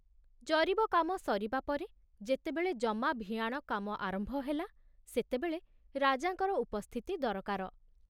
ଜରିବ କାମ ସରିବା ପରେ ଯେତେବେଳେ ଜମା ଭିଆଣ କାମ ଆରମ୍ଭ ହେଲା, ସେତେବେଳେ ରାଜାଙ୍କର ଉପସ୍ଥିତି ଦରକାର।